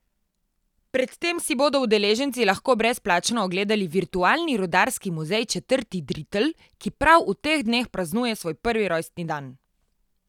Pred tem si bodo udeleženci lahko brezplačno ogledali virtualni rudarski muzej četrti dritl, ki prav v teh dneh praznuje svoj prvi rojstni dan.